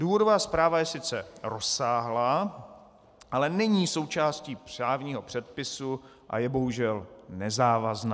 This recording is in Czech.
Důvodová zpráva je sice rozsáhlá, ale není součástí právního předpisu a je bohužel nezávazná.